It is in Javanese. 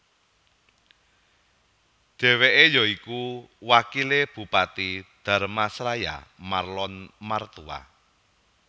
Dheweke ya iku wakile Bupati Dharmasraya Marlon Martua